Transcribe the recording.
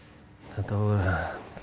þetta